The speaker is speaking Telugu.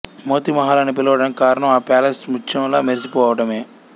మోతీ మహల్ అని పిలవటానికి కారణం ఆ ప్యాలెస్ ముత్యంలా మెరిసిపోవటమే